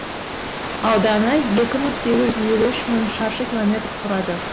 ауданы екі мың сегіз жүз елу үш мың шаршы километр құрады